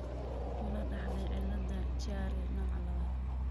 Ma la dhaxlay cilladda Chiari nooca labaad?